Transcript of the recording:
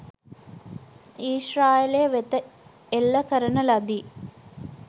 ඊශ්‍රායලය වෙත එල්ල කරන ලදී